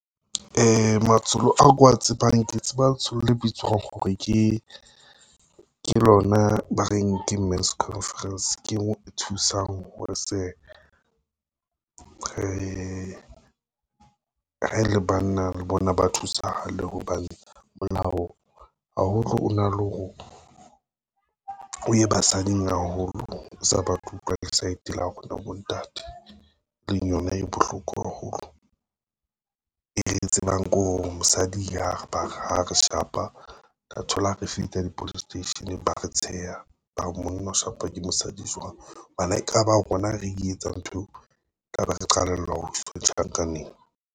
Matsholo ao ke wa tsebang ke tseba letsholo le bitswang hore ke, lona ba reng ke Men's Conference ke e thusang re le banna le bona ba thusahale hobane, molao o na le hore o ye basading haholo o sa batle ho utlwa le saete la rona bontate. E leng yona e bohloko haholo, e re tsebang ko hore ha mosadi ha re shapa, tla thola re fihla di-police station ba re tsheha, bare monna o shapwa ke mosadi jwang? Hobane ha e ka ba rona re e etsang nthweo, ka be re qalellwa ho tjhankaneng.